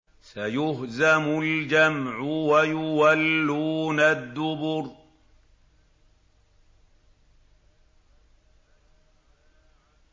سَيُهْزَمُ الْجَمْعُ وَيُوَلُّونَ الدُّبُرَ